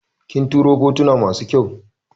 Kin turo fotuna masu kyau